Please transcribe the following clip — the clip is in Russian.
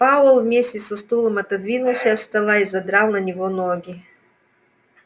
пауэлл вместе со стулом отодвинулся от стола и задрал на него ноги